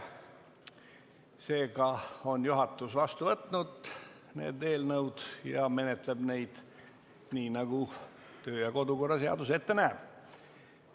Seega on juhatus vastu võtnud need kaks eelnõu ja menetleb neid nii, nagu kodu- ja töökorra seadus ette näeb.